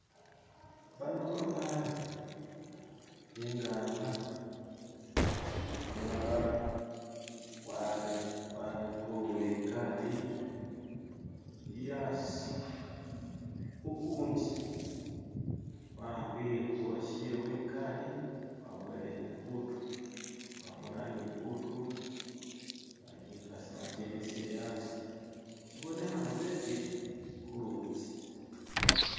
bano babaana bengana umulala warekule ikali ili asi ukundi wahambile uwashewe ikali waboyeleho ibutu wabona nibutu bakyimisile asi shibonehana betsile hulutsi